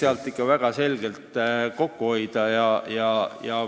... seal võiks väga selgelt kokku hoida.